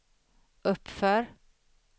uppför